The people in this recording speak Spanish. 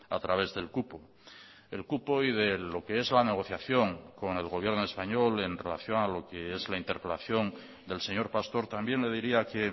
a través del cupo el cupo y de lo que es la negociación con el gobierno español en relación a lo que es la interpelación del señor pastor también le diría que